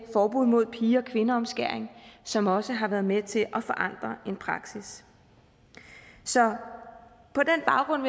forbuddet mod pige og kvindeomskæring som også har været med til at forandre en praksis så på den baggrund